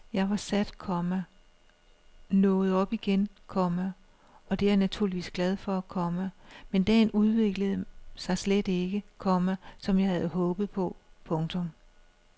Jeg var sat, komma nåede op igen, komma og det er jeg naturligvis glad for, komma men dagen udviklede sig slet ikke, komma som jeg havde håbet på. punktum